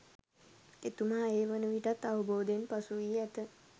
එතුමා ඒ වන විටත් අවබෝධයෙන් පසුවී ඇත.